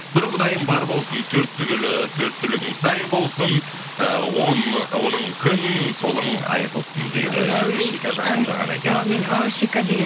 бір құдайым бар болсын төрт түлігің сай болсын ы оңың күн солың ай болсын дейді әумин шиказжан жолдаған екен әумин ооо шика деген